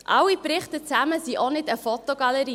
Alle Berichte zusammen sind auch keine Fotogalerie.